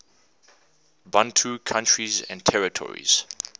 bantu countries and territories